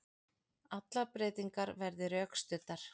Allar breytingar verði rökstuddar